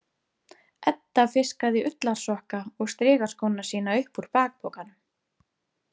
Edda fiskaði ullarsokka og strigaskóna sína upp úr bakpokanum.